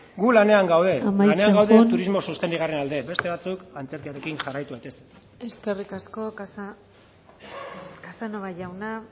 gu lanean gaude amaitzen joan lanean gaude turismo sostengarriaren alde beste batzuk antzerkiarekin jarraitu daitezen eskerrik asko casanova jauna